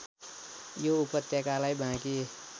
यो उपत्यकालाई बाँकी